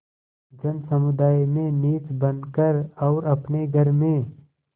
जनसमुदाय में नीच बन कर और अपने घर में